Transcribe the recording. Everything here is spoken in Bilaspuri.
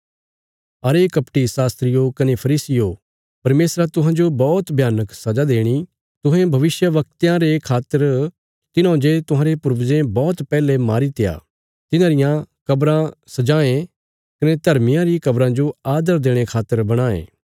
अरे कपटी शास्त्रियो कने फरीसियो परमेशरा तुहांजो बौहत भयानक सजा देणी तुहें भविष्यवक्तयां रे खातर तिन्हौं जे तुहांरे पूर्वजे बौहत पैहले मारीत्या था तिन्हांरियां कब्राँ सजांयें कने धर्मियां री कब्राँ जो आदर देणे खातर बणांये